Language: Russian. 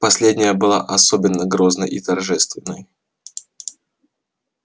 последняя была особенно грозной и торжественной